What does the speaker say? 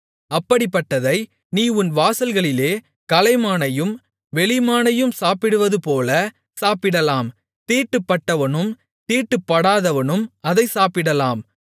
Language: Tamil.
அப்படிப்பட்டதை நீ உன் வாசல்களிலே கலைமானையும் வெளிமானையும் சாப்பிடுவதுபோலச் சாப்பிடலாம் தீட்டுப்பட்டவனும் தீட்டுப்படாதவனும் அதைச் சாப்பிடலாம்